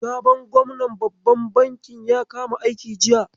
Sabon gwamnan babban bankin ya kama aiki jiya.